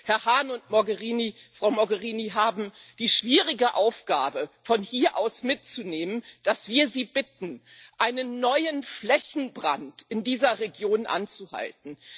Herr Hahn und Frau Mogherini haben die schwierige Aufgabe, von hier aus mitzunehmen, dass wir Sie bitten, einen neuen Flächenbrand in dieser Region aufzuhalten.